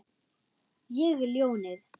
Ég er ljónið.